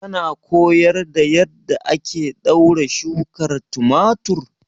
Kana koyar da yadda ake ɗaure shukar tumatir?